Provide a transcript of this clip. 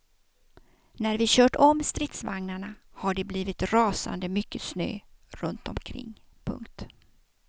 När vi kört om stridsvagnarna har det blivit rasande mycket snö runtomkring. punkt